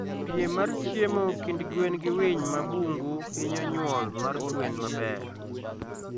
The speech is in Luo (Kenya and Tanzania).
Piem mar chiemo kind gwen gi winy ma bungu hinyo nyuol mar gwen maber